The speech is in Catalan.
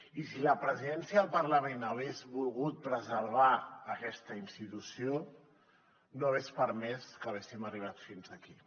i si la presidència del parlament hagués volgut preservar aquesta institució no hagués permès que haguéssim arribat fins aquí